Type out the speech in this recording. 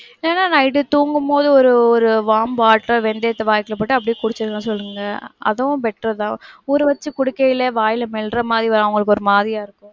இல்லன்னா night தூங்கும்போது ஒரு, ஒரு warm water வெந்தயத்த வாய்க்குள்ள போட்டு அப்படியே குடிச்சிர சொல்லுங்க. அதுவும் better தான். ஊறவச்சி குடிக்க இல்ல வாயில மெல்லுற மாதிரி அவங்களுக்கு ஒருமாதிரியா இருக்கும்.